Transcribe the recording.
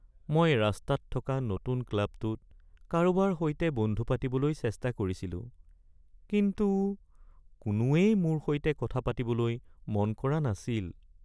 মই ৰাস্তাত থকা নতুন ক্লাবটোত কাৰোবাৰ সৈতে বন্ধু পাতিবলৈ চেষ্টা কৰিছিলোঁ, কিন্তু কোনোৱেই মোৰ সৈতে কথা পাতিবলৈ মন কৰা নাছিল।